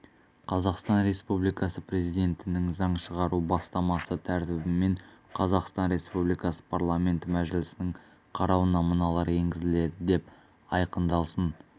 қазақстан республикасы президентінің заң шығару бастамасы тәртібімен қазақстан республикасы парламенті мәжілісінің қарауына мыналар енгізіледі деп айқындалсын